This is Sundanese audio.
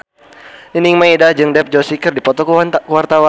Nining Meida jeung Dev Joshi keur dipoto ku wartawan